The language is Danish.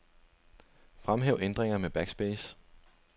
Fremhæv ændringer med backspace.